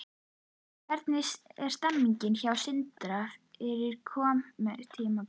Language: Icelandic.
Hvernig er stemningin hjá Sindra fyrir komandi tímabil?